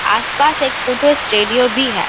आस-पास एक photo studio भी है।